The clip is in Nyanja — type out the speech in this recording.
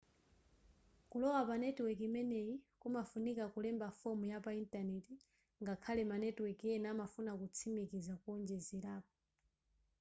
kulowa pa netiweki imeneyi kumafunika kulemba fomu yapa intanenti ngakhale ma netiweki ena amafuna kutsimikiza kowonjezerapo